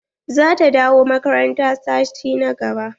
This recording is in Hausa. Za ta dawo makaranta sati na gaba.